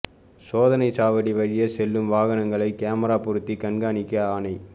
சோதனை சாவடி வழியே செல்லும் வாகனங்களை கேமரா பொருத்தி கண்காணிக்க ஆணை